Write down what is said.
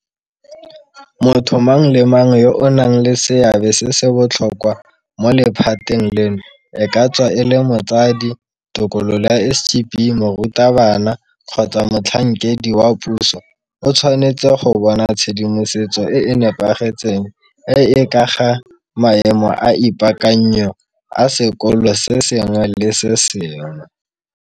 Motho mang le mang yo a nang le seabe se se botlhokwa mo lephateng leno, e ka tswa e le motsadi, tokololo ya SGB, morutabana kgotsa motlhankedi wa puso o tshwanetse go bona tshedimosetso e e nepagetseng e e ka ga maemo a ipaakanyo a sekolo se sengwe le se sengwe.